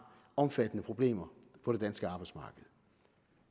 omfattende problemer på det danske arbejdsmarked